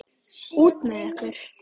Út með ykkur.